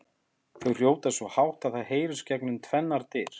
Þau hrjóta svo hátt að það heyrist gegnum tvennar dyr!